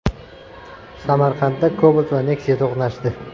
Samarqandda Cobalt va Nexia to‘qnashdi.